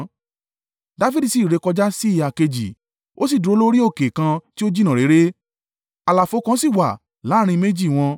Dafidi sì rékọjá sí ìhà kejì, ó sì dúró lórí òkè kan tí ó jìnnà réré; àlàfo kan sì wà láàrín méjì wọn.